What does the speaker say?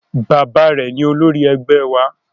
Bàbá rẹ̀ ni olórí ẹgbẹ́ wa